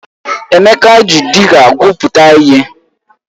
Emeka ji dịga gwuputa ihe.